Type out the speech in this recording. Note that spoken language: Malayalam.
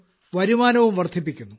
വരുമാനവും വർദ്ധിപ്പിക്കുന്നു